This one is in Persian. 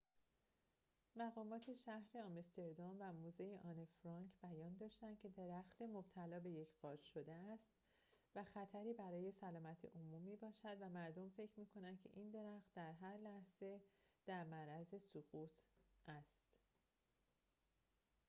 مقامات شهر آمستردام و موزه آنه فرانک بیان داشتند که درخت مبتلا به یک قارچ شده است و خطری برای سلامت عموم می‌باشد و مردم فکر می‌کنند که این درخت هر لحظه در معرض خطر سقوط است